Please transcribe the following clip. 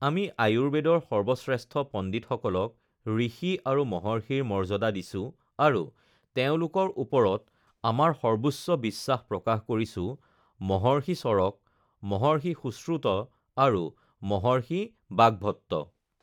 আমি আয়ুৰ্বেদৰ সৰ্বশ্ৰেষ্ঠ পণ্ডিতসকলক ঋষি আৰু মহৰ্ষিৰ মৰ্যাদা দিছো আৰু তেওঁলোকৰ ওপৰত আমাৰ সৰ্বোচ্চ বিশ্বাস প্ৰকাশ কৰিছোঁ মহৰ্ষি চৰক, মহৰ্ষি সুশ্ৰুত আৰু মহৰ্ষি বাগভট্ট!